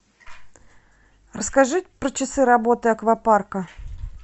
расскажи про часы работы аквапарка